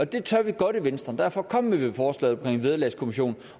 det tør vi godt i venstre og derfor kom vi med forslaget om en vederlagskommission